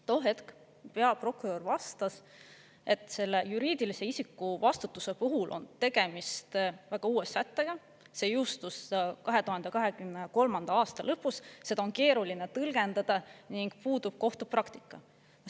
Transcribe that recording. Too hetk peaprokurör vastas, et selle juriidilise isiku vastutuse puhul on tegemist väga uue sättega, see jõustus 2023. aasta lõpus, seda on keeruline tõlgendada ning puudub kohtupraktika.